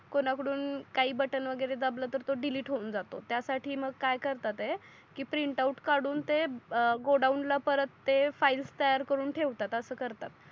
कोण कडून काही बटन वगेरे दबल तर तो डिलिट हून जातो त्या साठी मग काय करतात आहे की प्रिंटआउट कडून ते गोडाऊनला परत ते फाइल्स तयार करून ठेवतात अस करतात.